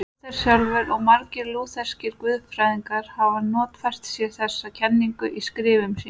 Lúther sjálfur og margir lútherskir guðfræðingar hafa notfært sér þessa kenningu í skrifum sínum.